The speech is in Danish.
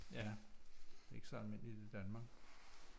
Ja ikke så almindeligt i Danmark